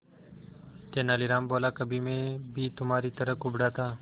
तेनालीराम बोला कभी मैं भी तुम्हारी तरह कुबड़ा था